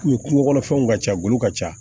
Ni kungo kɔnɔfɛnw ka ca golo ka ca